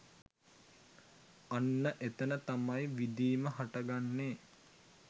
අන්න එතන තමයි විඳීම හටගන්නේ.